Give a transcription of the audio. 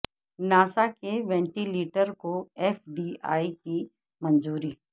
NASA کے ventilator کو F D A کی منظوری